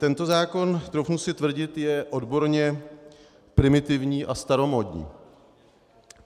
Tento zákon, troufnu si tvrdit, je odborně primitivní a staromódní.